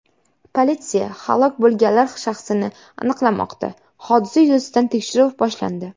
Politsiya halok bo‘lganlar shaxsini aniqlamoqda, hodisa yuzasidan tekshiruv boshlandi.